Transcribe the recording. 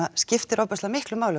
skiptir ofboðslega miklu máli